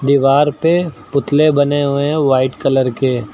दीवार पे पुतले बने हुए हैं व्हाइट कलर के।